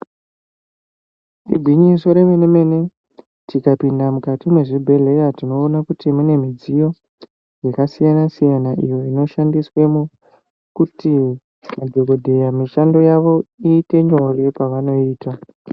Igwinyiso yemene mene tikapinda mukati mwezvibhedhlera tinoone kuti mune midziyo yakasiyana siyana iyo inoshandiswawo kuti madhokoteya mishando yavo iite nyore pavanoiita.